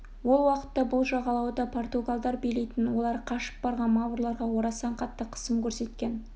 ол уақытта бұл жағалауды португалдар билейтін олар қашып барған маврларға орасан қатты қысым көрсеткен